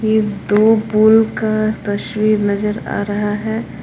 ये दो पूल का तस्वीर नजर आ रहा है।